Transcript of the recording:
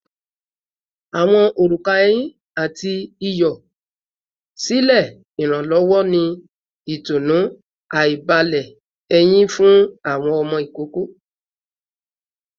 Awọn oruka ehin ati iyọ silẹ iranlọwọ ni itunu aibalẹ eyin fun awọn ọmọ ikoko